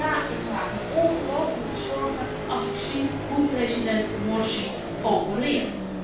En ja, ik maak mij ongelooflijk veel zorgen als ik zie hoe president Morsi opereert.